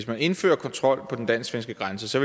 man indførte kontrol på den dansk svenske grænse